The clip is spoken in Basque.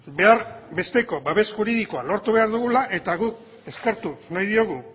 behar besteko babes juridikoa lortu behar dugula eta guk eskertu nahi diogu